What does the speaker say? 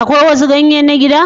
Akwai wasu ganye na gida?